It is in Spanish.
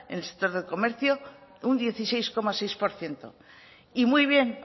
en el sector del comercio un dieciséis coma seis por ciento y muy bien